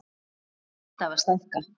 Við erum alltaf að stækka.